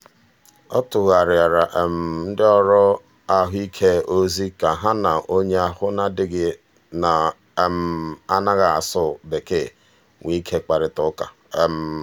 ọ tụgharịara ndị ọrụ ahụike ozi ka ha na onye ahụ adịghị na-anaghị asụ bekee nwee ike kparịta ụka.